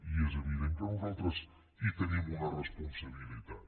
i és evident que nosaltres hi tenim una responsabilitat